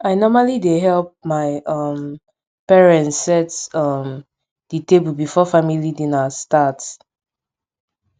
i normally dey help my um parents set um di table before family dinner start